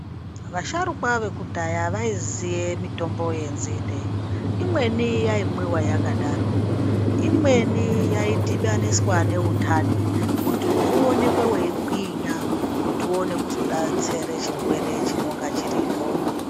Vasharukwa vekudhaya vaiziye mitombo yenzinde. Imweni yaimwiwa yakadaro. Imweni yaidhibaniswa neundani kuti uonekwe weigwinya kuti uone kuzodatsere chirwere chinonga chiripo.